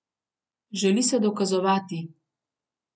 Želi se dokazovati.